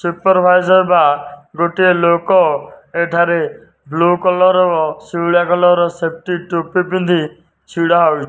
ଗୋଟିଏ ଲୋକ ଏଠାରେ ବୁଲ କଲର କଲର ର ସେପଟି ଟୋପି ପିଧିକି ଠିଆ ହେଇଛି।